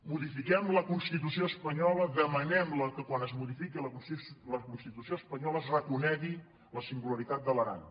modifiquem la constitució espanyola demanem que quan es modifiqui la constitució espanyola es reco·negui la singularitat de l’aran